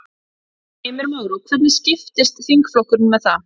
Heimir Már: Og hvernig skiptist þingflokkurinn með það?